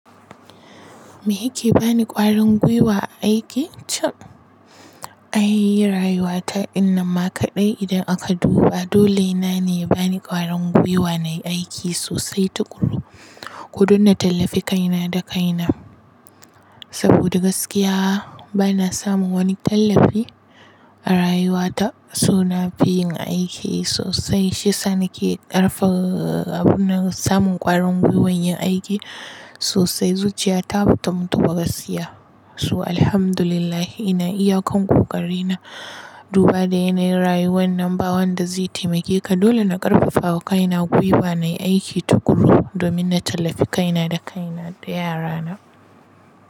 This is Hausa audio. Me yake bani ƙwarin gwiwa a aiki cap? Ai, rayuwa ta inna ma kaɗai idan aka duba. Dole na ne bani ƙwarin gwiwa na yi aiki sosai tukuru, kudun na tallafi kaina da kaina. Saboda gaskiya bana samun wani tallafi a rayuwa ta, so na fi yin aiki sosai. Shi yasa na ke ƙarfa abun samun ƙwarin gwiwan yin aiki sosai. Zuciya ta bata mutu ba gaskiya. So, alhamdulillah ina iya kan kokari na. Duba da yanayin rayuwar nan, ba wanda zai taimake ka. Dole na ƙarfafa kaina gwiwa na yi aiki tukun domin na tallafi kaina da kaina da yara na.